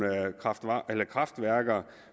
kraftværker